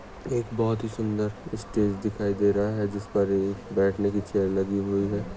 एक बहुत ही सुंदर इस्टेज दिखाई दे रहा है जिसपर एक बैठने की चेअर लगी हुई है।